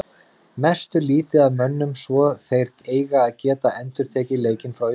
Misstu lítið af mönnum svo þeir eiga að geta endurtekið leikinn frá í fyrra.